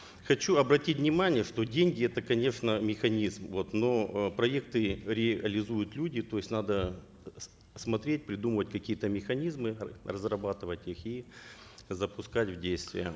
хочу обратить внимание что деньги это конечно механизм вот но э проекты реализуют люди то есть надо смотреть придумывать какие то механизмы разрабатывать их и запускать в действие